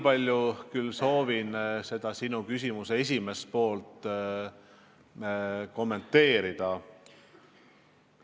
Ma tahan natuke ka sinu küsimuse esimest poolt kommenteerida.